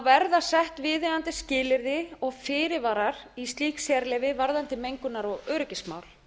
verða sett viðeigandi skilyrði og fyrirvarar í slík sérleyfi varðandi mengunar og öryggismál